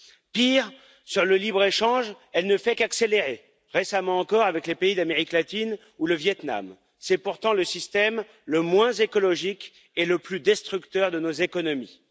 Pire, sur le libre échange, elle ne fait qu'accélérer, récemment encore avec les pays d'Amérique latine ou le Vietnam. C'est pourtant le système le moins écologique et le plus destructeur de nos économies.